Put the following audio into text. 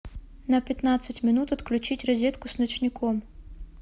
на пятнадцать минут отключить розетку с ночником